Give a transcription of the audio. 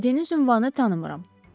Dediyiniz ünvanı tanımıram.